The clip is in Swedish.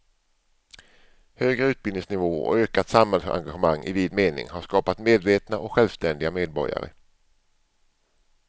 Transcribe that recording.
Högre utbildningsnivå och ökat samhällsengagemang i vid mening har skapat medvetna och självständiga medborgare.